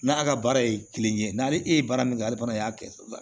N'a ka baara ye kelen ye n'ale e ye baara min kɛ ale fana y'a kɛ sa